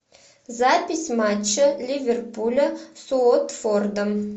запись матча ливерпуля с уотфордом